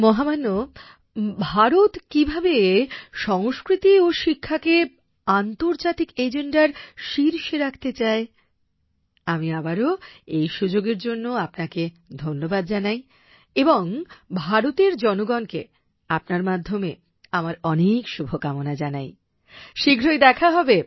মহামান্য ভারত কিভাবে সংস্কৃতি ও শিক্ষাকে আন্তর্জাতিক এজেন্ডার শীর্ষে রাখতে চায় আমি আবারও এই সুযোগের জন্য আপনাকে ধন্যবাদ জানাই এবং ভারতের জনগণকে আপনার মাধ্যমে আমার অনেক শুভকামনা জানাই শীঘ্রই দেখা হবে